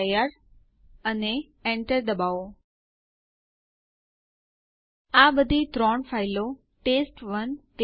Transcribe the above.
આ એ ખાતરી કરવા માટે છે કે બધી માહિતી સાચી છે